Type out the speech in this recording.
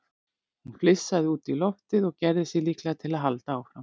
Hún flissaði út í loftið og gerði sig líklega til að halda áfram.